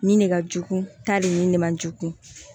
Nin ne ka jugu ta le nin de man jugun